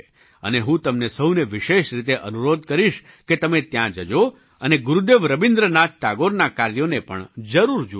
અને હું તમને સહુને વિશેષ રીતે અનુરોધ કરીશ કે તમે ત્યાં જજો અને ગુરુદેવ રબીન્દ્રનાથ ટાગોરનાં કાર્યોને પણ જરૂર જુઓ